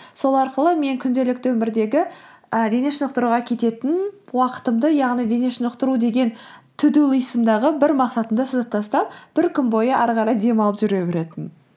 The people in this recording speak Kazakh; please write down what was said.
сол арқылы мен күнделікті өмірдегі ы дене шынықтыруға кететін уақытымды яғни дене шынықтыру деген ту ду листымдағы бір мақсатымды сызып тастап бір күн бойы ары қарай демалып жүре беретінмін